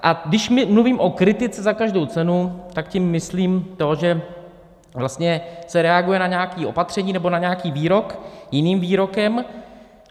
A když mluvím o kritice za každou cenu, tak tím myslím to, že vlastně se reaguje na nějaké opatření nebo na nějaký výrok jiným výrokem.